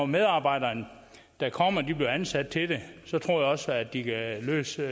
medarbejdere der kommer bliver ansat til det så tror jeg også at de kan løse